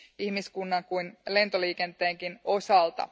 ihmiskunnan kuin lentoliikenteenkin osalta.